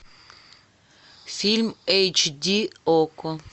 фильм эйч ди окко